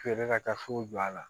Feere ka taa fo jɔ a la